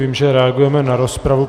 Vím, že reagujeme na rozpravu.